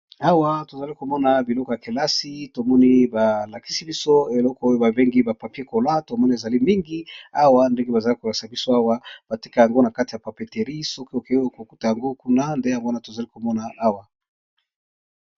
Awa tozali komona biloko ya kelasi tomoni balakisi biso. Eloko oyo babengi ba papier kola tomoni ezali mingi. Awa ndinge bazali kolakisa biso awa bateka yango na kati ya papeterie, soki okeyoa kokuta yango kuna nde yanwana tozali komona awa.